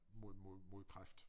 Mod mod mod kræft